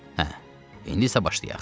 Hə, indisi başlayaq.